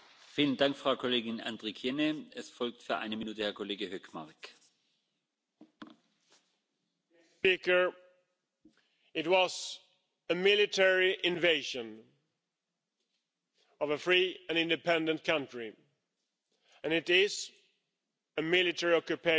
Mr President, it was a military invasion of a free and independent country, and it is a military occupation of a free and independent country.